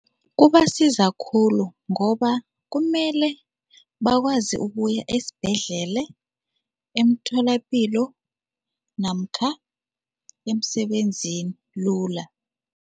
Kubasiza khulu ngoba kumele bakwazi ukuya ezibhedlele, emtholapilo namkha emsebenzini lula.